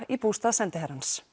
í bústað sendiherrans